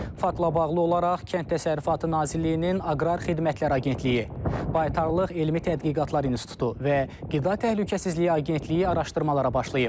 Faktla bağlı olaraq Kənd Təsərrüfatı Nazirliyinin Aqrar Xidmətlər Agentliyi, Baytarlıq Elmi Tədqiqatlar İnstitutu və Qida Təhlükəsizliyi Agentliyi araşdırmalara başlayıb.